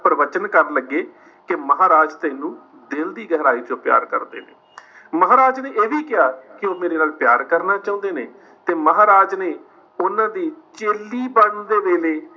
ਪਰਵਚਨ ਕਰਨ ਲੱਗੇ ਕਿ ਮਹਾਰਾਜ ਤੈਨੂੰ ਦਿਲ ਦੀ ਗਹਿਰਾਈ ਚੋਂ ਪਿਆਰ ਕਰਦੇ ਨੇ। ਮਹਾਰਾਜ ਨੇ ਇਹ ਵੀ ਕਿਹਾ ਉਹ ਮੇਰੇ ਨਾਲ ਪਿਆਰ ਕਰਨਾ ਚੁਹੰਦੇ ਨੇ ਤੇ ਮਹਾਰਾਜ ਨੇ ਉਨ੍ਹਾਂ ਦੀ ਚੇਲੀ ਬਣਨ ਦੇ ਵੇਲੇ